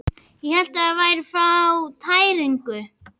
Ég hélt ég væri að fá tæringu.